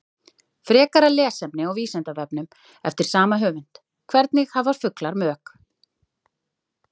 Frekara lesefni á Vísindavefnum eftir sama höfund: Hvernig hafa fuglar mök?